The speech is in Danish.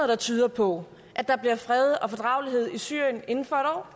der tyder på at der bliver fred og fordragelighed i syrien inden for